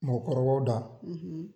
Mɔgɔkɔrɔbaw da